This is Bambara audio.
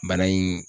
Bana in